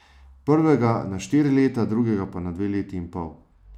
Prvega na štiri leta, drugega pa na dve leti in pol.